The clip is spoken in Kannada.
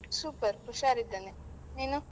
Super ಹುಷಾರ್ ಇದ್ದೇನೆ, ನೀನು?